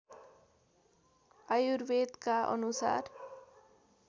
आयुर्वेदका अनुसार